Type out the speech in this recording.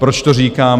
Proč to říkám?